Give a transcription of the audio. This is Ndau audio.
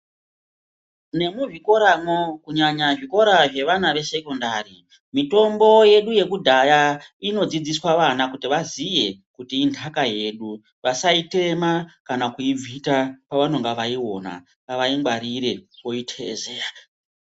Nemuzvikoramwo kunyanya zvikora zvesekondari mitombo yedu yekudhaya inodzidziswa vana kuti vaziye kuti inhtaka yedu vasaitema kana kuibvita pavanenge vaiona ngavaingwarire voiteezeya.